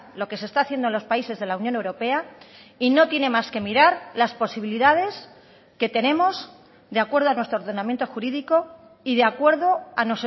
lo que se está haciendo en los países de la unión europea y no tiene más que mirar las posibilidades que tenemos de acuerdo a nuestro ordenamiento jurídico y de acuerdo a